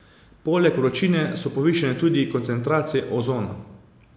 Poleg vročine so povišane tudi koncentracije ozona.